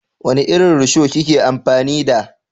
Wani irin rusho ki ke amfani da?